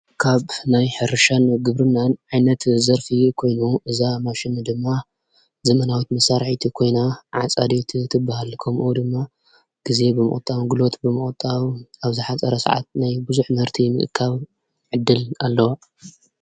ካብ ናይ ሕርሻን ግብርናን ዓይነት ዘርፊ ኮይኑ እዛ ማሽን ድማ ዘመናዊት መሣርሒቲ ኮይና ዓፃዲት ትበሃል ከምኡ ድማ ጊዜ ብምቕጣዊ ግሎት ብምቕጣዊ ኣብዛ ሓፃረ ሰዓት ናይ ብዙኅ መህርቲ ምቕካብ ዕድል ኣለዋ።